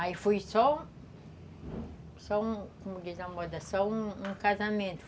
Aí foi só... Só um, como diz a moda, só um um casamento.